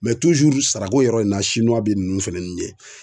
sarako yɔrɔ in na bɛ nunnu fɛn nin ɲɛ.